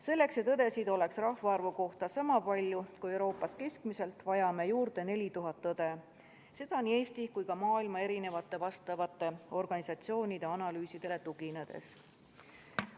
Selleks et õdesid oleks rahvaarvu kohta niisama palju kui Euroopas keskmiselt, vajame juurde 4000 õde, seda nii Eesti kui ka maailma vastavate organisatsioonide analüüsidele tuginedes.